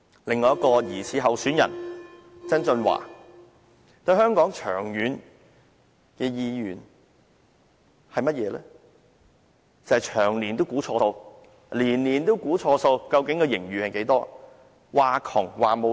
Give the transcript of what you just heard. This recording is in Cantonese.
另一名疑似候選人曾俊華，對香港無長遠願景，長年估錯數，年年都估錯盈餘，只懂"呻窮"、喊缺錢。